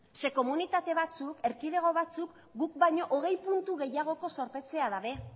zeren komunitate batzuk erkidego batzuk guk baino hogei puntu gehiagoko zorpetzea dute